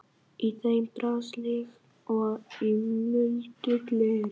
Í þeim brast líkt og í muldu gleri.